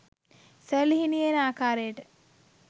සැළලිහිණියේ එන ආකාරයට